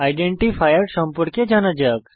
identifier সম্পর্কে জানা যাক